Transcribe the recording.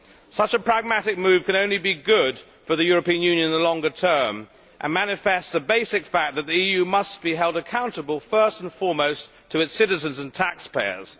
Such a pragmatic move could only be good for the European Union in the longer term and manifests the basic fact that the EU must be held accountable first and foremost to its citizens and taxpayers.